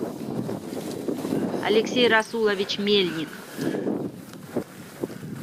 алексей расулович мельник